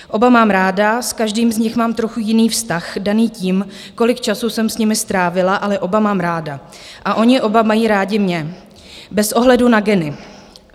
Oba mám ráda, s každým z nich mám trochu jiný vztah, daný tím, kolik času jsem s nimi strávila, ale oba mám ráda a oni oba mají rádi mě - bez ohledu na geny.